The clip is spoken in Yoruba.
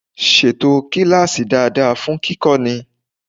Ṣètò kíláàsì dáadáa fún kíkọ́ni!